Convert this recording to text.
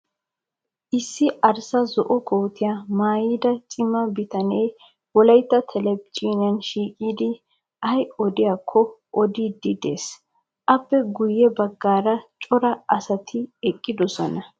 Issi arssa zo''o kootiya mayyida cima bitanee Wolayitta telbejiiniyan shiiqidi ayi odiyaakko odiiddi des. Appe guyye baggaara cora asati eqqidosona.